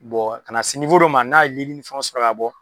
kan'a se dɔ ma, n'a ye nili fɛnw sɔrɔ ka bɔ